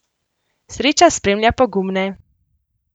Sreča spremlja pogumne!